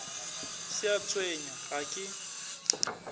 se a tshwenya ga ke